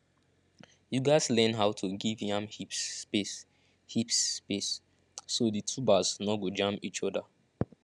you gatz learn how to give yam heaps space heaps space so the tubers no go jam each other